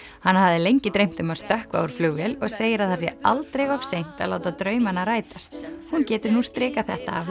hana hafði lengi dreymt um að stökkva úr flugvél og segir að það sé aldrei of seint að láta drauma sína rætast hún getur nú strikað þetta af